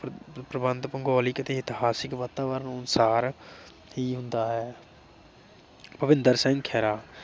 ਭੂਗੋਲਿਕ ਅਤੇ ਇਤਿਹਾਸਕ ਮਹੱਤਵ ਅਨੁਸਾਰ ਕੀ ਹੁੰਦਾ ਹੈ । ਭੁਪਿੰਦਰ ਸਿੰਘ ਖਹਿਰਾ